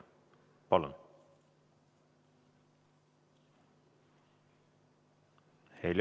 Palun!